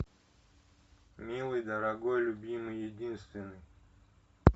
милый дорогой любимый единственный